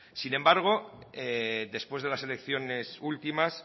sin embargo después de las elecciones últimas